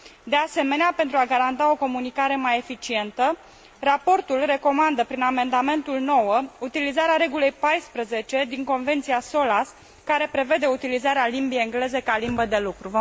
De asemenea, pentru a garanta o comunicare mai eficientă, raportul recomandă prin amendamentul 9 utilizarea regulii 14 din Convenția Solas, care prevede utilizarea limbii engleze ca limbă de lucru.